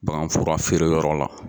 Bagan furafeereyɔrɔ la